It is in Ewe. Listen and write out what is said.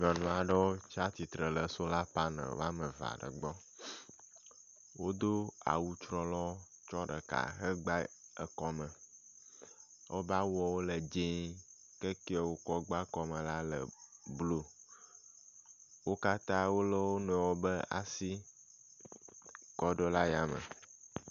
Nyɔnu aɖewo tsia tsitre ɖe sola paneli woameve aɖe gbɔ. Wodo awu trɔlɔɔ tsɔ ɖeka hegba kɔme. Woƒe awuwo le dzĩĩ ke kɛ wokɔ gba kɔmɔ la le blɔ. Wo katã wolé wo nɔewo ƒe asi kɔ ɖo ɖe yame.